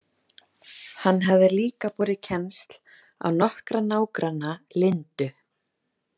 Hann hafði líka borið kennsl á nokkra nágranna Lindu.